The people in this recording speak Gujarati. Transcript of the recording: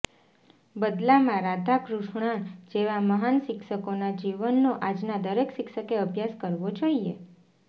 બદલામાં રાધાકૃષ્ણન જેવા મહાન શિક્ષકોના જીવનનો આજના દરેક શિક્ષકે અભ્યાસ કરવો જોઇએ